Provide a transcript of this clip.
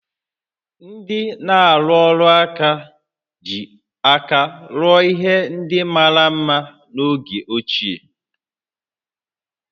Ndị na-arụ ọrụ aka ji aka rụọ ihe ndị mara mma n'oge ochie